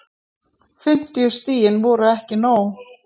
Fimmtíu stigin voru ekki nóg